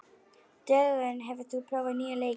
Dögun, hefur þú prófað nýja leikinn?